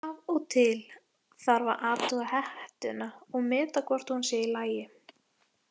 Af og til þarf að athuga hettuna og meta hvort hún sé í lagi.